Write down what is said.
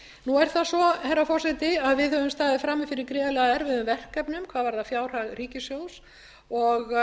nú er það svo herra forseti að við höfum staðið frammi fyrir gríðarlega erfiðum verkefnum hvað varðar fjárhag ríkissjóðs og